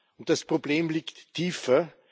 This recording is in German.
Und das Problem liegt tiefer